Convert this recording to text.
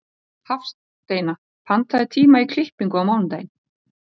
Hafsteina, pantaðu tíma í klippingu á mánudaginn.